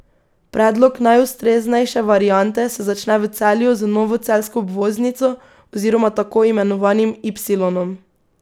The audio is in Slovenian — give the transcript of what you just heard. Predlog najustreznejše variante se začne v Celju z novo celjsko obvoznico oziroma tako imenovanim ipsilonom.